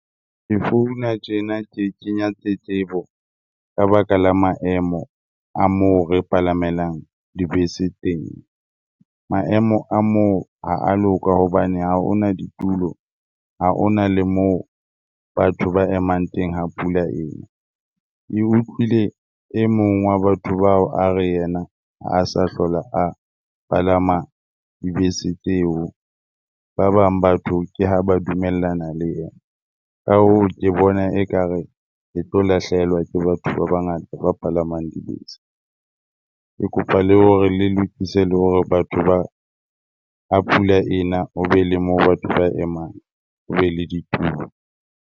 Ke founa tjena ke kenya tletlebo ka baka la maemo a moo re palamelang dibese teng. Maemo a moo ha a loka hobane ha ho na ditulo, ha ho na le moo batho ba emang teng ha pula ena. Ke utlwile e mong wa batho bao a re yena ha sa hlola a palama dibese tseo. Ba bang batho ke ha ba dumellana le yena. Ka hoo, ke bona ekare e tlo lahlehelwa ke batho ba bangata ba palamang dibese. Ke kopa le hore le lokise le hore batho ha pula e na ho be le moo batho ba emang, ho be le ditulo.